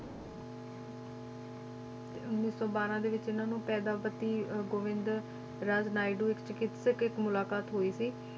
ਤੇ ਉੱਨੀ ਸੌ ਬਾਰਾਂ ਦੇ ਵਿੱਚ ਇਹਨਾਂ ਨੂੰ ਪੇਦਾਪਤੀ ਅਹ ਗੋਵਿੰਦਰਾਜ ਨਾਇਡੂ, ਇੱਕ ਚਿਕਿਤਸਕ, ਇੱਕ ਮੁਲਾਕਾਤ ਹੋਈ ਸੀ,